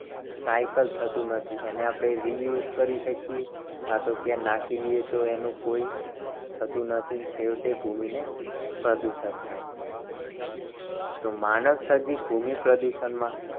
Recycle થતું નથી. એને આપણે use કરી શકીએ કાં તો ક્યાંય નાખી દઈએ. તો એનો કોઈ થતું નથી. અને છેવટે ભૂમિને પ્રદૂષણ થાય છે. તો માનવ સર્જિત ભૂમિ પ્રદૂષણ માં